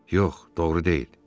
Yox, doğru deyil.